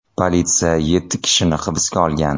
Politsiya yetti kishini hibsga olgan.